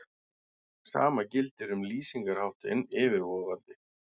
Sama gildir um lýsingarháttinn yfirvofandi.